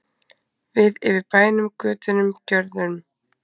Við yfir bænum, götunum, görðunum.